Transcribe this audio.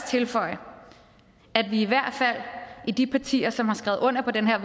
tilføje at vi i hvert fald i de partier som har skrevet under på det her